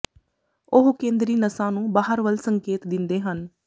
ਉਹ ਕੇਂਦਰੀ ਨਸਾਂ ਨੂੰ ਬਾਹਰ ਵੱਲ ਸੰਕੇਤ ਦਿੰਦੇ ਹਨ